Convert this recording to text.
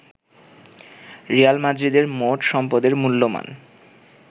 Real মাদ্রিদের মোট সম্পদের মূল্যমান